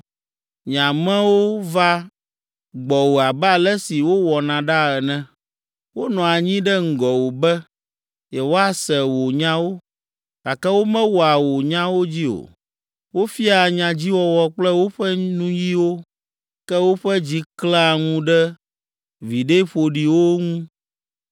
Nye amewo vaa gbɔwò abe ale si wowɔna ɖaa ene, wonɔa anyi ɖe ŋgɔwò be yewoase wò nyawo, gake womewɔa wò nyawo dzi o. Wofiaa nyadziwɔwɔ kple woƒe nuyiwo, ke woƒe dzi klẽa ŋu ɖe viɖe ƒoɖiwo ŋu.